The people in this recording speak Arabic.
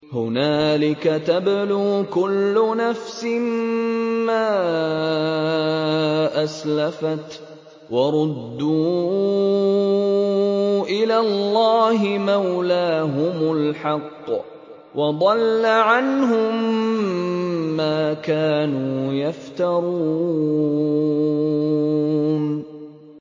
هُنَالِكَ تَبْلُو كُلُّ نَفْسٍ مَّا أَسْلَفَتْ ۚ وَرُدُّوا إِلَى اللَّهِ مَوْلَاهُمُ الْحَقِّ ۖ وَضَلَّ عَنْهُم مَّا كَانُوا يَفْتَرُونَ